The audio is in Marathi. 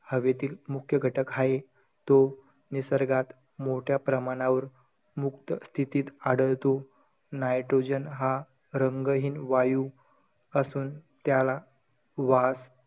हवेतील मुख्य घटक हाये. तो निसर्गात मोठ्या प्रमाणावर मुक्त स्थितीत आढळतो. nitrogen हा रंगहीन वायू असून त्याला वास,